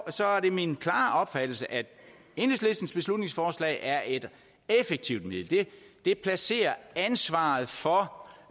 så er det min klare opfattelse at enhedslistens beslutningsforslag er et effektivt middel det placerer ansvaret for